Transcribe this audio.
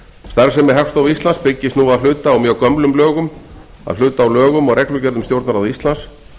starfsemi hagstofu íslands byggist nú að hluta á mjög gömlum lögum að hluta á lögum og reglugerð um stjórnarráð íslands